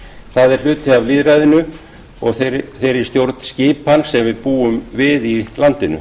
það er hluti af lýðræðinu og þeirri stjórnskipan sem við búum við í landinu